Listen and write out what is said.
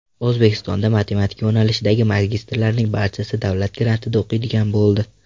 O‘zbekistonda matematika yo‘nalishidagi magistrlarning barchasi davlat grantida o‘qiydigan bo‘ldi.